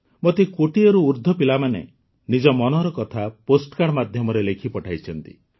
ମୋତେ କୋଟିଏରୁ ଅଧିକ ପିଲାମାନେ ନିଜ ମନର କଥା ପୋଷ୍ଟ କାର୍ଡ଼ ମାଧ୍ୟମରେ ଲେଖି ପଠାଇଛନ୍ତି